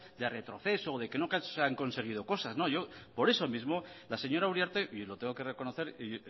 de retroceso o de que no se han conseguido cosas la señora uriarte y lo tengo que reconocer